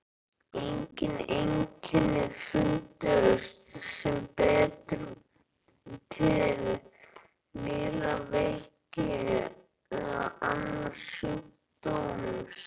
Engin einkenni fundust sem bentu til nýrnaveiki eða annars sjúkdóms.